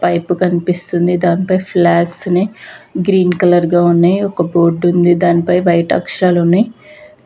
Pipe కనిపిస్తుంది. దానిపై flags ని గ్రీన్ కలర్ గా ఉన్నాయి. ఒక బోర్డు ఉంది దానిపై వైట్ అక్షరాలు ఉన్నాయి.